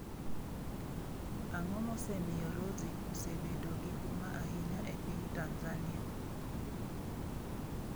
Ang'o mosemiyo Rozie osebedo gi huma ahinya e piny Tanzania?